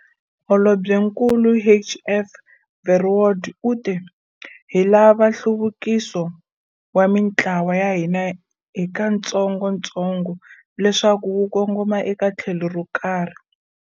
Holobyenkulu HF Verwoerd u te- Hi lava nhluvukiso wa mitlawa ya hina hikatsongotsongo leswaku wu kongoma eka tlhelo ro karhi.